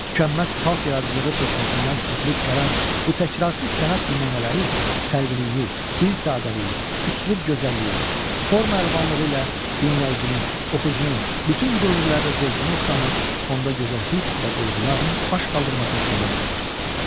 Tükənməz xalq yaradıcılığı çeşməsindən süzülüb gələn bu təkrarsız sənət nümunələri xəlqiliyi, dil sadəliyi, üslub gözəlliyi, forma əlvanlığı ilə dinləyicinin, oxucunun bütün dövrlərdə zövqünə oxşamış, onda gözəl hiss və duyğuların baş qaldırmasına səbəb olmuşdur.